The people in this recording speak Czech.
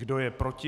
Kdo je proti?